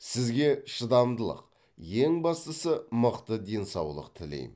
сізге шыдамдылық ең бастысы мықты денсаулық тілейм